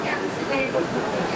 Xeyir yoxdur, Hərbi.